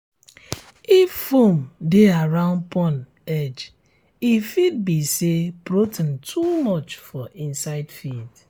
if foam dey around pond edge e fit be say protein too much for inside feed